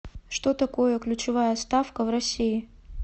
что такое ключевая ставка в россии